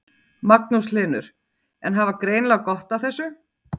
Magnús Hlynur: En hafa greinilega gott af þessu?